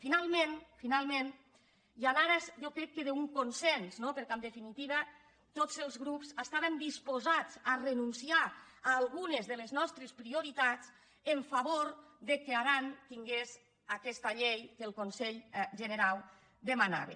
finalment final·ment i en ares jo crec que d’un consens no per·què en definitiva tots els grups estàvem disposats a re·nunciar a algunes de les nostres prioritats en favor que aran tingués aquesta llei que el conselh generau de·manava